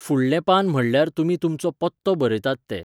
फुडलें पान म्हणल्यार तुमी तुमचो पत्तो बरयतात तें.